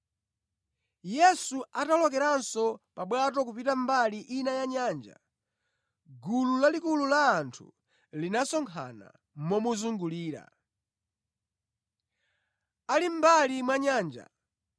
Yesu atawolokeranso pa bwato kupita mbali ina ya nyanja, gulu lalikulu la anthu linasonkhana momuzungulira. Ali mʼmbali mwa nyanja,